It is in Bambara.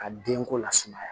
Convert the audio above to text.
Ka denko lasumaya